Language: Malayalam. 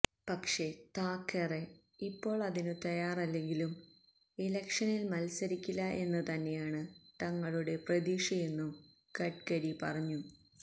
പക്ഷെ താക്കറെ ഇപ്പോള് അതിനു തയ്യാറല്ലെങ്കിലും ഇലക്ഷനില് മത്സരിക്കില്ല എന്ന് തന്നെയാണ് തങ്ങളുടെ പ്രതീക്ഷയെന്നും ഗട്കരി പറഞ്ഞു